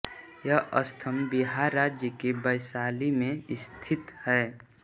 यह स्तंभ बिहार राज्य के वैशाली में स्थित है